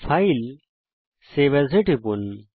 ফাইলেগটগট save as টিপুন